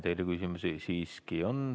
Teile küsimusi siiski on.